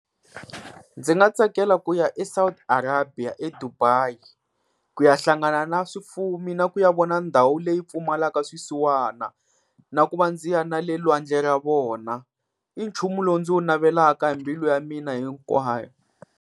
Ndzi nga tsakela ku ya eSouth Arabia, eDubai ku ya hlangana na swifumi na ku ya vona ndhawu leyi pfumalaka swisiwana. Na ku va ndzi ya na le lwandle ra vona, i nchumu lowu ndzi wu navelaka hi mbilu ya mina hinkwayo.